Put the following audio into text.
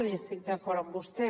i estic d’acord amb vostè